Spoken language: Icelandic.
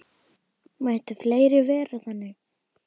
Mættu fleiri vera þannig.